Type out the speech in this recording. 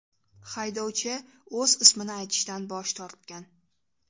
Haydovchi o‘z ismini aytishdan bosh tortgan.